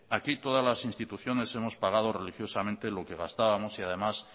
aquí todas las instituciones hemos pagado religiosamente lo que gastábamos y además